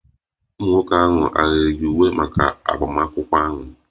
Ụmụ nwoke ahụ hà yi uwe maka agbamakwụkwọ ahụ?